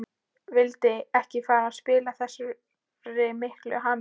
Vildi ekki fara að spilla þessari miklu hamingju.